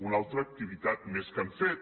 una altra activitat més que hem fet